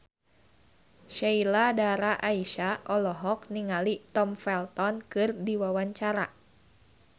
Sheila Dara Aisha olohok ningali Tom Felton keur diwawancara